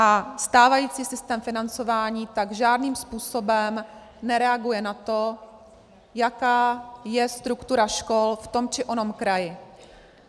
A stávající systém financování tak žádným způsobem nereaguje na to, jaká je struktura škol v tom či onom kraji.